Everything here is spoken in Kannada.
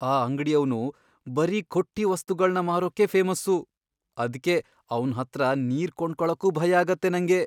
ಆ ಅಂಗಡಿಯವ್ನು ಬರೀ ಖೊಟ್ಟಿ ವಸ್ತುಗಳ್ನ ಮಾರೋಕೇ ಫೇಮಸ್ಸು, ಅದ್ಕೆ ಅವ್ನ್ ಹತ್ರ ನೀರ್ ಕೊಂಡ್ಕೊಳಕ್ಕೂ ಭಯಾಗತ್ತೆ ನಂಗೆ.